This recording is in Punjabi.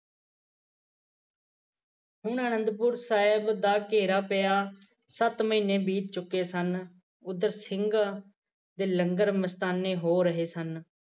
ਹੁਣ ਅਨੰਦਪੁਰ ਸਾਹਿਬ ਦਾ ਘੇਰਾ ਪਿਆ ਸੱਤ ਮਹੀਨੇ ਬੀਤ ਚੁੱਕੇ ਸਨ ਓਦਰ ਸਿੰਘ ਦੇ ਲੰਗਰ ਮਸਤਾਨੇ ਹੋ ਰਹੇ ਸਨ